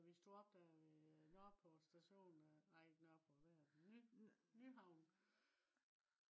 så vi stod op der ved nørreport station nej ikke nørreport hvad af det nyhavn